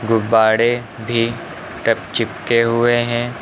गुब्बारे भी टप चिपके हुए हैं।